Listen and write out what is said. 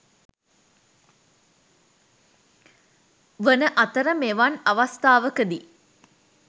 වන අතර මෙවන් අවස්ථාවකදී